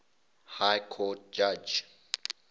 high court judge